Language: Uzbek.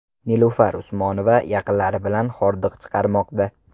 Nilufar Usmonova yaqinlari bilan hordiq chiqarmoqda.